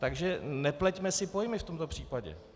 Takže nepleťme si pojmy v tomto případě.